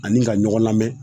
Ani ka ɲɔgɔn lamɛn